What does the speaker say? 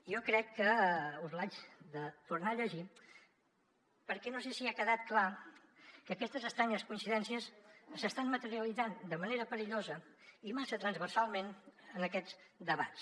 jo crec que us l’haig de tornar a llegir perquè no sé si ha quedat clar que aquestes estranyes coincidències s’estan materialitzant de manera perillosa i massa transversalment en aquests debats